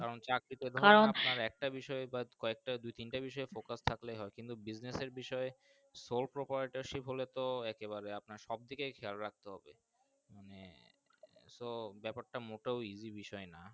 কারণ চাকরি তে কারণ আপনার একটা বিষয়ক একটা বিষয় দুই তিনটা বিষয় পকের থাকলে হয় তো কিন্তু Business বিষয় এ সৌ বিষয়ে আর কি বলে আপনার সব দিকে খেয়াল রাখতে হবে মানে তো বাপের টা মোটরও Easy বিষয় না।